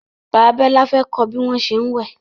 Bàbá Bola fè kò bí wón ṣe wẹ.